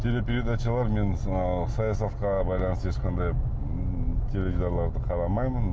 телепередачалар мен саясатқа байланысты ешқандай ммм теледидарларды қарамаймын